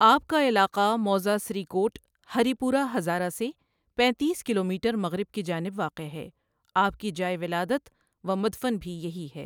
آپ کا علاقہ موضع سری کوٹ ہریپور ہزارہ سے پینتیس کلومیٹرمغرب کی جانب واقع ہے، آپ کی جائے ولادت ومدفن بھی یہی ہے۔